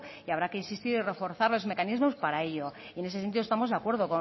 y habrá que insistir y reforzar los mecanismos para ello y en ese sentido estamos de acuerdo